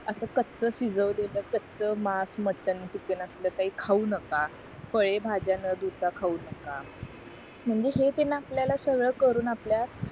असं कच शिजवलेलं काचा मास मटण चिकन असल काही खाऊ नका फळे भाज्या न धुता खाऊ नका म्हणजे हे त्यांन आपल्याला सगळं करून आपल्या